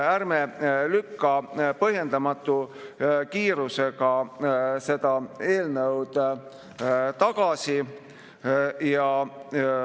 Ärme lükkame põhjendamatu kiirusega seda eelnõu tagasi!